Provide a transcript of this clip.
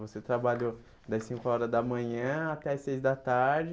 Você trabalhou das cinco horas da manhã até as seis da tarde,